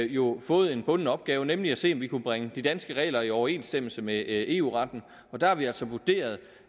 jo fået en bunden opgave nemlig at se om vi kunne bringe de danske regler i overensstemmelse med eu retten og der har vi altså vurderet